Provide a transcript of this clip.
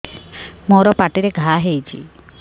ମୋର ପାଟିରେ ଘା ହେଇଚି